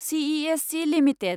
CESC limited